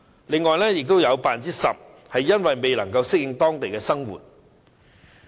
此外，有 10% 表示未能適應當地生活。